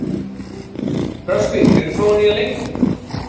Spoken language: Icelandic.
Röskvi, hefur þú prófað nýja leikinn?